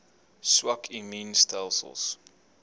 swak immuun stelsels